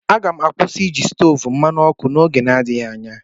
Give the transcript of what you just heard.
M ga-akwụsị iji stovu mmanụ ọkụ n'oge n'adịghị anya.